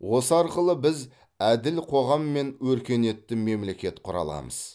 осы арқылы біз әділ қоғам мен өркениетті мемлекет құра аламыз